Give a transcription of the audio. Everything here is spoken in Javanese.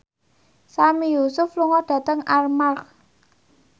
Sami Yusuf lunga dhateng Armargh